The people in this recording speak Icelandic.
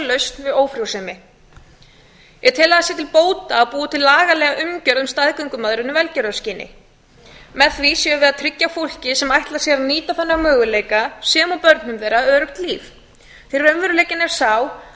við ófrjósemi ég tel að það sé til bóta að búa til lagalega umgjörð um staðgöngumæðrun í velgerðarkyni með því sé við að tryggja fólki sem ætlar sér að nýta þennan möguleika sem og börnum þeirra öruggt líf því raunveruleikinn er sá